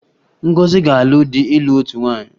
Ngozi ga-alụ di ịlụ otu nwaanyị